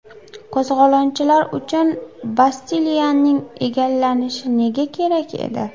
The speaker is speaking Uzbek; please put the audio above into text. Qo‘zg‘olonchilar uchun Bastiliyaning egallanishi nega kerak edi?